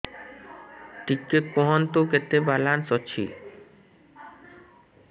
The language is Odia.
ଟିକେ କୁହନ୍ତୁ କେତେ ବାଲାନ୍ସ ଅଛି